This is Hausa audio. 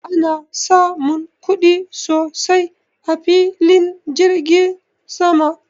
Ana samun kuɗi sosai a filin jiragen sama